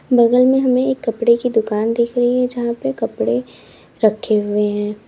बगल में हमें कपड़े की दुकान दिखा रही है जहां पे कपड़े रखे हुए हैं।